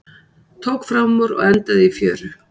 Tók framúr og endaði í fjöru